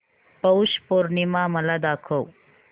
पौष पौर्णिमा मला दाखव